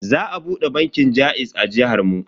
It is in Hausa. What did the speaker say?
Za a bude bankin jaiz a jihar mu.